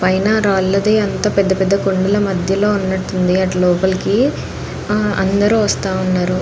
పైన రాళ్ళది అంతా పెద్ద పెద్ద కొండల మధ్యలో ఉన్నటు ఉంది అటు లోపలికి ఆ అందరూ వస్తా ఉన్నారు.